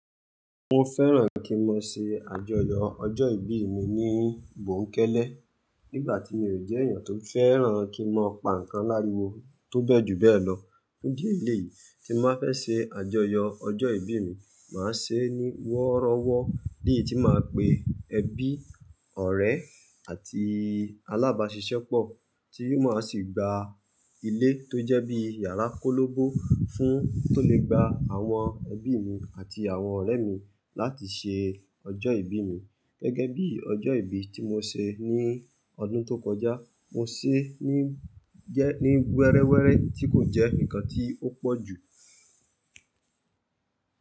Mo fẹ́ràn kí n mọ ṣe àjọyọ̀ ọjọ́ ìbí mi ní gbòkélé, nígbà tí mi ò jẹ́ èèyàn tó fẹ́ràn kí n mọ pa nǹkan láriwo tó bẹ́ẹ̀ ju bẹ́ẹ̀ lọ. Fun idi eléyìí tí má fẹ́ ṣe àjọyọ̀ ọjọ́ ìbí mi, màá ṣe é ní wọ́rọ́wọ́, léyìí tí màá pe ẹbí, ọ̀rẹ́ àti alábàáṣiṣẹ́pọ̀ tí màá sì gba ilé tó jẹ́ bí yàrá kólóbo tó lè gba àwọn ẹbí mi àti àwọn ọ̀rẹ́ mi láti ṣe ọjọ́ ìbí mi. Gẹ́gẹ́ bí ọjọ́ ìbí tí mo ṣe ní ọdún tó kọjá, mo ṣe é ní wẹ́rẹ́wẹ́rẹ́ tí kò jẹ́ ǹkan tí ó pọ̀ jù.